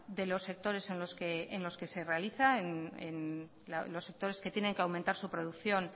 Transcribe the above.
de los sectores en los que se realiza en los sectores que tienen que aumentar su producción